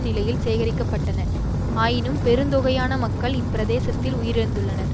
நிலையில் சேகரிக்க பட்டன ஆயினும் பெருந்தொகையான மக்கள் இப்பிரதேசத்தில் உயிரிழந்துள்ளனர்